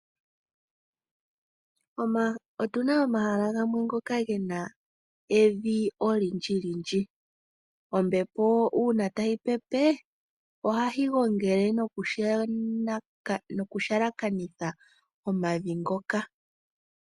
Otuna omahala gamwe ngoka gena evi olindji lindji, ombepo uuna tayi pepe ohayi gongele noku halakanitha omavi ngoka.